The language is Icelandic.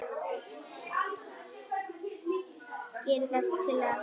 Gerir þessi tillaga það?